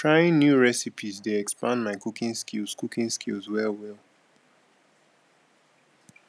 trying new recipes dey expand my cooking skills cooking skills well well